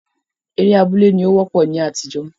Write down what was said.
Eré abúlé ní ó wọ́pọ̀ ní àtijó